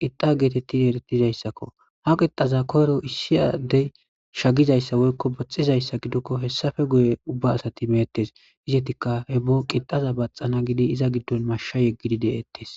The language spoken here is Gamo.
qixa geetettin eretizayssakko ha qixaza koyro issi addey shagizayssa woykko baxizayssa gidokko hessafe guye ubba asati meettes izetikka he bo qixaza baxana gidi iza giddon masha yeggidi deettes.